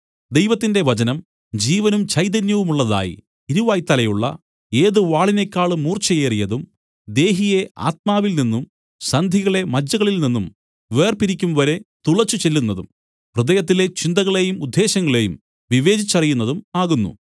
ദൈവത്തിന്റെ വചനം ജീവനും ചൈതന്യവുമുള്ളതായി ഇരുവായ്ത്തലയുള്ള ഏത് വാളിനേക്കാളും മൂർച്ചയേറിയതും ദേഹിയെ ആത്മാവിൽനിന്നും സന്ധികളെ മജ്ജകളിൽനിന്നും വേർപിരിക്കുംവരെ തുളച്ചുചെല്ലുന്നതും ഹൃദയത്തിലെ ചിന്തകളെയും ഉദ്ദേശങ്ങളെയും വിവേചിച്ചറിയുന്നതും ആകുന്നു